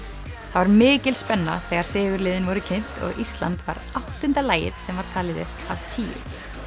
það var mikil spenna þegar sigurliðin voru kynnt og Ísland var áttunda lagið sem var talið upp af tíu